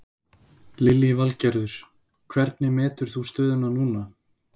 Lillý Valgerður: Hvernig metur þú stöðuna núna?